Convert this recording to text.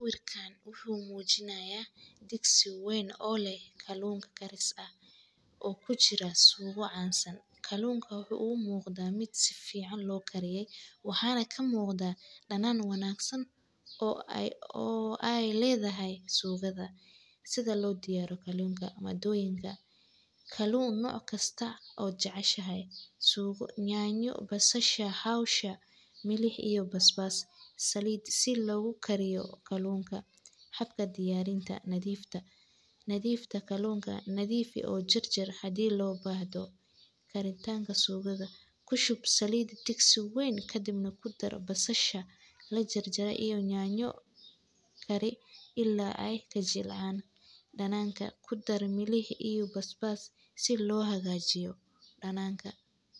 Sawirkan wuxuu mujinayaa digsi weyn o leh kalunka kariska ah,o kujiraa suugo cansan, kalunka wuxuu u muqdaa miid sifican lo kariye, waxana kamuqda danan wanagsan,o ee ledahay suugada, sidaa lo diyariyo kalunka madoyinka, kaluun noc kastaa o jaceshahay, suugo, nyanya, basasha, hawsha milix iyo basbas, saliid sithi logu kariyo kalunka, xaga diyarinta nadiftaa, nadifi o jarjar hadii lo bahdo, karitanka suugada kushub saliid digsi weyn, kadibna kudar basasha la jar jare iyo nyanyo, karii ila ee ka jilcan, dananka kudar mililix iyo bas bas si lo hagajiyo dananka.